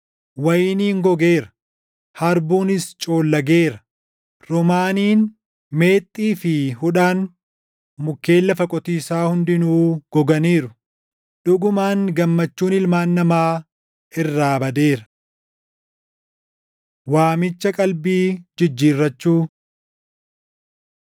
Wayiniin gogeera; harbuunis coollageera; roomaaniin, meexxii fi hudhaan, mukkeen lafa qotiisaa hundinuu goganiiru. Dhugumaan gammachuun ilmaan namaa irraa badeera. Waamicha Qalbii Jijjiirrachuu